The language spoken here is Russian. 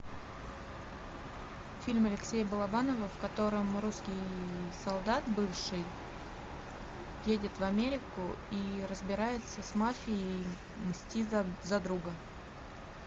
фильм алексея балабанова в котором русский солдат бывший едет в америку и разбирается с мафией мстит за друга